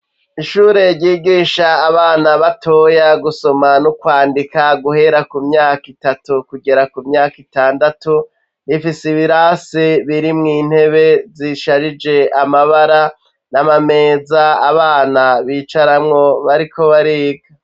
Ishure ryigisha abana batoya gusoma n'ukwandika guhera ku myaka itatu kugera ku myaka itandatu rifise ibirasi birimwo intebe zisharije amabara n'amameza abana bicaramwo bariko bariga.